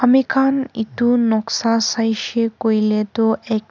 ami khan etu noksa sai se koile tu ek--